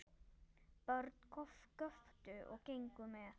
Börn göptu og gengu með.